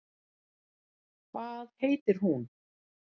Hvað heitir hún?